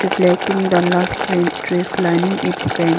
the lush green trees lining its bank.